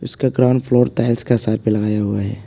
इसका ground floor tiles का सर पर लगाया हुआ है।